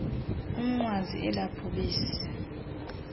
umnqwazi ela bhubesi